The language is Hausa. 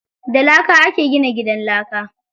Da laka ake gina gidan laka.